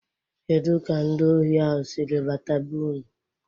Kedụ ka ndị ohi ahụ sịrị bata be-ụnụ?